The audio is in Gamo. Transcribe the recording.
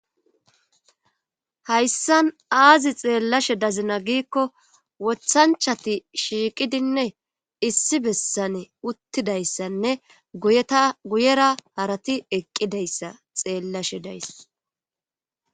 Hayssan aazi xeellashe dazina giikko wothanchati shiiqidinne issi bessane uttidayssanne uguyera harati eqqidayssa xeellashe days